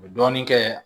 U bɛ dɔɔnin kɛ